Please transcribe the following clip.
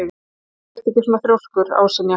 Af hverju ertu svona þrjóskur, Ásynja?